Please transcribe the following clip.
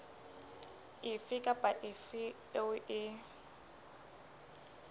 efe kapa efe eo e